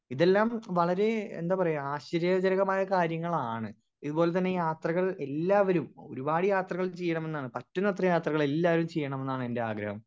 Speaker 1 ഇതെല്ലം വളരെ എന്താ പറയാ ആശ്ചര്യ ജരകമായ കാര്യങ്ങളാണ് ഇതുപോലത്തന്നെ യാത്രകൾ എല്ലാവരും ഒരുപാട് യാത്രകൾ ചീയ്യണമെന്നാണ് പറ്റുന്നത്ര യാത്രകളെല്ലാവരും ചീയ്യണമെന്നാണ് എന്റെ ആഗ്രഹം.